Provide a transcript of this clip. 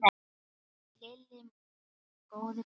Lilli minn, góði besti.